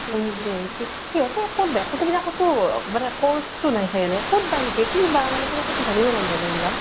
আচৰিত দেই । সিহঁতে কʼত কʼতো course তো নাই চাগে । কʼত বা শিকে ? কি বা মানে কেনেকে । মানে জানিব মন যায় ন কিবা ?